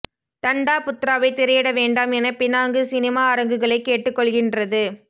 தண்டா புத்ராவை திரையிட வேண்டாம் என பினாங்கு சினிமா அரங்குகளை கேட்டுக் கொள்கின்றது